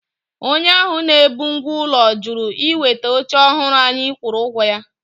Onye ahụ na-ebu ngwá ụlọ jụrụ iweta oche ọhụrụ anyị kwụrụ ụgwọ ya.